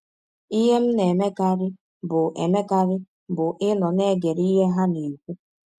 Ihe m na - emekarị bụ emekarị bụ ịnọ na - egere ihe ha na - ekwụ.